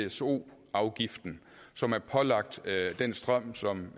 pso afgiften som er pålagt den strøm